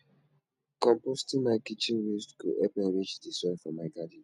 composting my kitchen waste go help enrich di soil for my garden